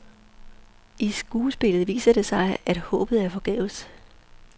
I skuespillet viser det sig, at håbet er forgæves.